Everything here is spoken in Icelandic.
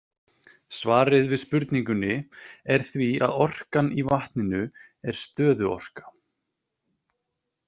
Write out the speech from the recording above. Svarið við spurningunni er því að orkan í vatninu er stöðuorka.